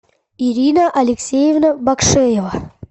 ирина алексеевна бакшеева